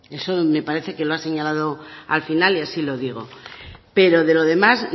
eso me parece que lo ha señalado al final y así lo digo pero de lo demás